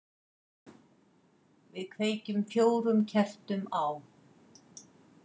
Við kveikjum fjórum kertum á.